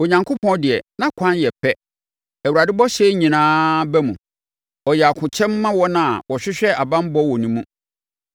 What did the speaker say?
Onyankopɔn deɛ, nʼakwan yɛ pɛ; Awurade bɔhyɛ nyinaa ba mu. Ɔyɛ akokyɛm ma wɔn a wɔhwehwɛ banbɔ wɔ ne mu.